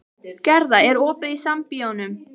Gerða, er opið í Sambíóunum?